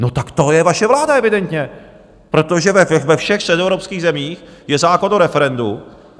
No tak to je vaše vláda evidentně, protože ve všech středoevropských zemích je zákon o referendu.